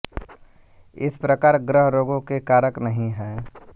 इस प्रकार ग्रह रोगों के कारक नहीं है